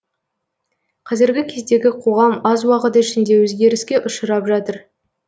қазіргі кездегі қоғам аз уақыт ішінде өзгеріске ұшырап жатыр